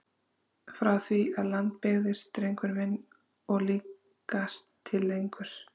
Frá því að land byggðist drengur minn og líkast til lengur!